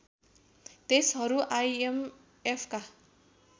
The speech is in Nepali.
देशहरू आइएमएफका